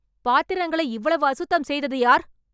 பாத்திரங்களை இவ்வளவு அசுத்தம் செய்தது யார்?